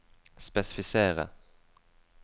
spesifisere